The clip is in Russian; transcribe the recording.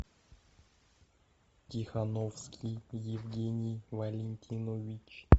тихоновский евгений валентинович